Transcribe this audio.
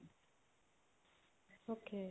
okay